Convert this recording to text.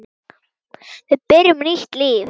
Við byrjum nýtt líf.